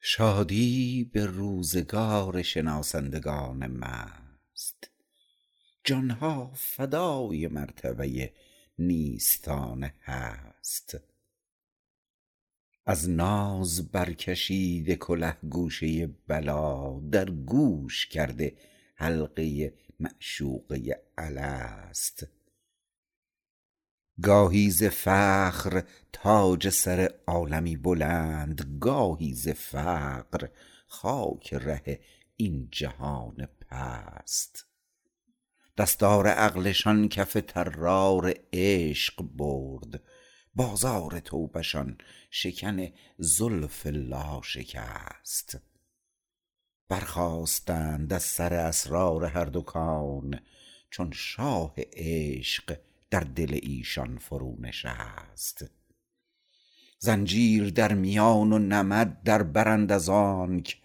شادی به روزگار شناسندگان مست جانها فدای مرتبه نیستان هست از ناز برکشیده کله گوشه بلی در گوش کرده حلقه معشوقه الست گاهی ز فخر تاج سر عالمی بلند گاهی ز فقر خاک ره این جهان پست دستار عقلشان کف طرار عشق برد بازار توبه شان شکن زلف لا شکست برخاستند از سر اسرار هر دو کون چون شاه عشق در دل ایشان فرو نشست زنجیر در میان و نمد دربرند از آنک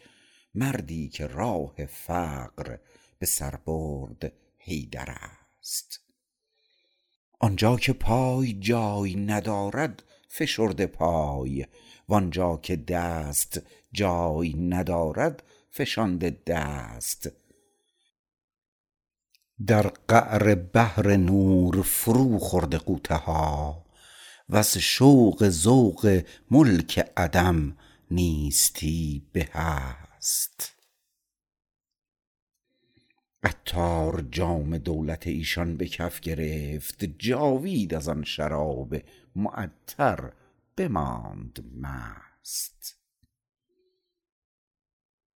مردی که راه فقر به سر برد حیدر است آنجا که پای جای ندارد فشرده پای وانجا که دست جای ندارد فشانده دست در قعر بحر نور فرو خورده غوطه ها وز شوق ذوق ملک عدم نیستی به هست عطار جام دولت ایشان به کف گرفت جاوید از آن شراب معطر بماند مست